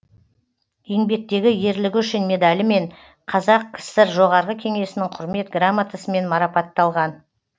еңбектегі ерлігі үшін медалімен қазақ кср жоғарғы кеңесінің құрмет грамотасымен марапатталған